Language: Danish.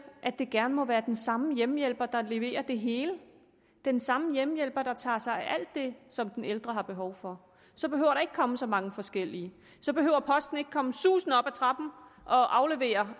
at det gerne må være den samme hjemmehjælper der leverer det hele den samme hjemmehjælper der tager sig af alt det som den ældre har behov for så behøver der ikke at komme så mange forskellige så behøver posten ikke komme susende op ad trappen og aflevere